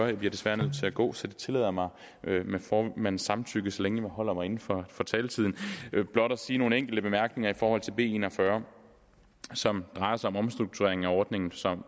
jeg bliver desværre nødt til at gå så jeg tillader mig med formandens samtykke så længe jeg holder mig inden for for taletiden blot at sige nogle enkelte bemærkninger i forhold til b en og fyrre som drejer sig om omstruktureringen af ordningen